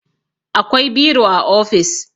akwai biro a ofis